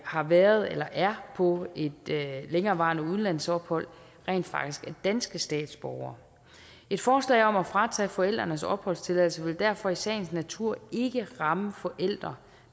har været eller er på et længerevarende udlandsophold rent faktisk er danske statsborgere et forslag om at fratage forældrenes opholdstilladelse vil derfor i sagens natur ikke ramme forældre